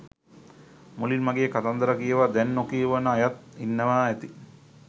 මුලින් මගේ කතන්දර කියවා දැන් නොකියවන අයත් ඉන්නවා ඇති.